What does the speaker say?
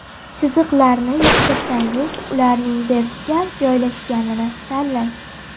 Chiziqlarni yoqtirsangiz, ularning vertikal joylashganini tanlang.